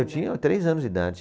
Eu tinha três anos de idade.